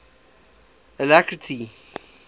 alacrity